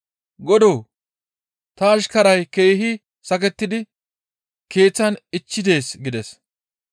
«Godoo! Ta ashkaray keehi sakettidi keeththan ichchi dees» gides.